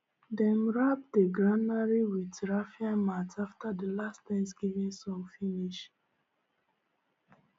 dem wrap the granary with raffia mat after the last thanksgiving song finish